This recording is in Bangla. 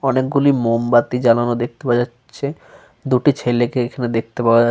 অনেক গুলি মোমবাতি জ্বালানো দেখতে পাওয়া যাচ্ছে। দুটি ছেলেকে এখানে দেখতে পাওয়া যা--